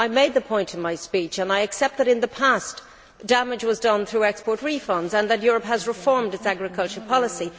I made this point in my speech, and I accept that in the past, damage was done through export refunds and that Europe has now reformed its agricultural policy.